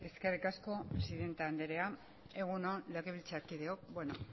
eskerrik asko presidente andrea egun on legebiltzarkideok bueno